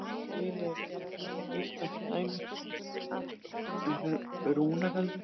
Til eru allnokkur íslensk dæmi um rúnagaldur.